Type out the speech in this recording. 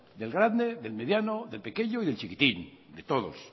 del grande del mediano del pequeño y del chiquitín de todos